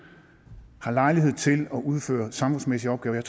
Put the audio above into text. har lejlighed til at udføre samfundsmæssige opgaver